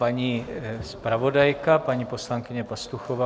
Paní zpravodajka, paní poslankyně Pastuchová.